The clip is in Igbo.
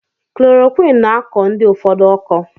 Klorokwin na akọ ndi ụfọdụ ụkọ.